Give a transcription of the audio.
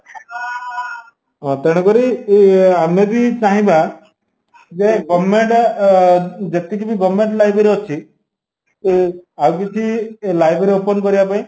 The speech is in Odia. ହଁ ତେଣୁକରି ଇଏ ଅମେବି ଚାହିଁବା ଜେ government ଆ ଯେତିକିବି government library ଅଛି ଏ ଆଉକିଛି library open କରିବାପାଇଁ